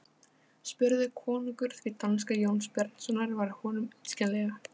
spurði konungur því danska Jóns Bjarnasonar var honum illskiljanleg.